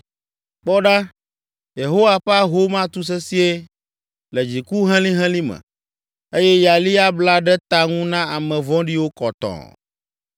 Kpɔ ɖa, Yehowa ƒe ahom atu sesĩe le dziku helĩhelĩ me, eye yali abla ɖe ta ŋu na ame vɔ̃ɖiwo kɔtɔɔ.